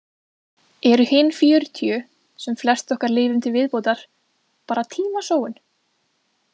Eru hin fjörutíu, sem flest okkar lifum til viðbótar, bara tímasóun?